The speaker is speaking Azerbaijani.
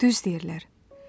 Düz deyirlər.